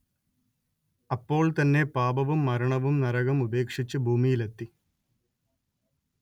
അപ്പോൾ തന്നെ പാപവും മരണവും നരകം ഉപേക്ഷിച്ച് ഭൂമിയിലെത്തി